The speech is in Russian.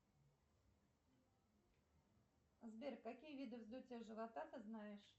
сбер какие виды вздутия живота ты знаешь